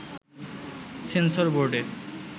sensor বোর্ডে